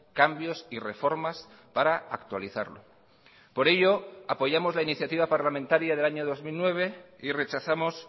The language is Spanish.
cambios y reformas para actualizarlo por ello apoyamos la iniciativa parlamentaria del año dos mil nueve y rechazamos